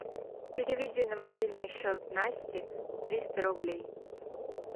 переведи на мобильный счет насти триста рублей